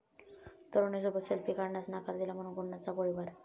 तरुणीसोबत selfie काढण्यास नकार दिला म्हणून गुंडाचा गोळीबार